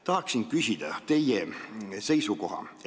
Tahan küsida teie seisukohta.